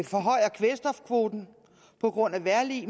forhøjer kvælstofkvoten på grund af vejrlig